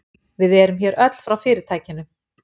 Við erum hér öll frá fyrirtækinu